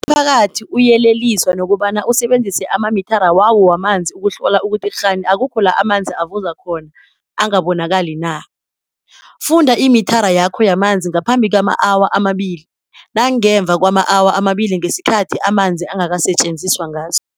Umphakathi uyeleliswa nokobana usebenzise amamithara wawo wamanzi ukuhlola ukuthi kghani akukho la amanzi avuza khona angabonakali na. Funda imithara yakho yamanzi ngaphambi kwama-awa amabili, nangemva kwama-awa amabili ngesikhathi amanzi angakasetjenziswa ngaso.